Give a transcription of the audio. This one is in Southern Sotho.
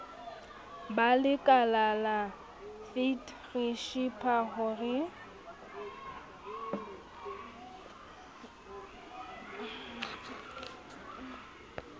ba lekalala fet re tshepahore